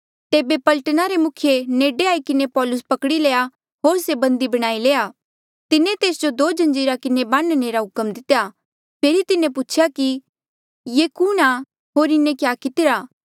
तेबे पलटना रे मुखिये नेडे आई किन्हें पौलुस पकड़ी लया होर से बंदी बणाई लया तिन्हें तेस जो दो जंजीरा किन्हें बान्ह्णे रा हुक्म दितेया फेरी तिन्हें पूछेया कि ये कुणहां होर इन्हें क्या कितिरा